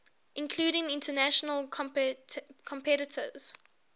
including international competitors